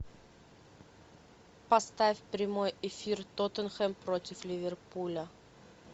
поставь прямой эфир тоттенхэм против ливерпуля